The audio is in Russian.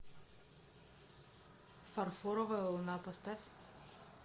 фарфоровая луна поставь